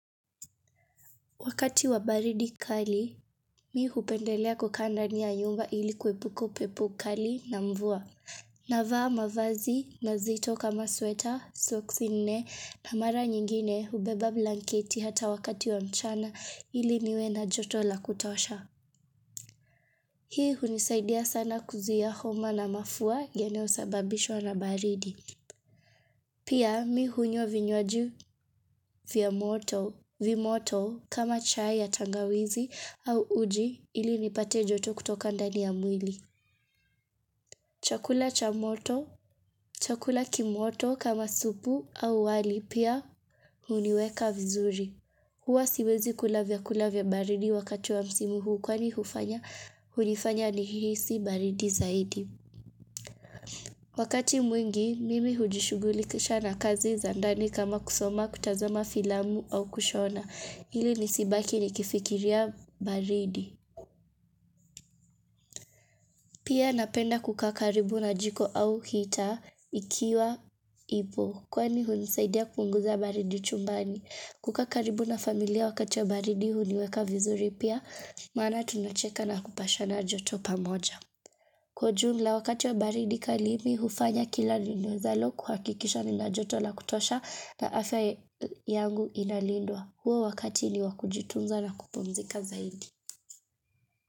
Wakati wa baridi kali, mi hupendelea kukaa ndani ya yumba ili kuepuka upepo kali na mvua. Navaa mavazi mazito kama sweta, socks nne na mara nyingine hubeba blanketi hata wakati wa mchana ili niwe na joto la kutosha. Hii hunisaidia sana kuzuia homa na mafua yanayosababishwa na baridi. Pia mi hunywa vinywaji vya moto, vimoto kama chai ya tangawizi au uji ili nipate joto kutoka ndani ya mwili. Chakula cha moto, chakula kimoto kama supu au wali pia huniweka vizuri. Hua siwezi kula vyakula vya baridi wakati wa msimu huu kwani hufanya, hunifanya nihisi baridi zaidi. Wakati mwingi, mimi hujishugulikisha na kazi za ndani kama kusoma, kutazama filamu au kushona ili nisibaki nikifikiria baridi Pia napenda kukaa karibu na jiko au heater ikiwa ipo Kwani hunisaidia kupunguza baridi chumbani. Kukaa karibu na familia wakati wa baridi huniweka vizuri pia Maana tunacheka na kupashana joto pamoja Kwa jumla wakati wa baridi kali, mi hufanya kila niwezalo kuhakikisha nina joto la kutosha na afya yangu inalindwa. Huo wakati ni wa kujitunza na kupumzika zaidi.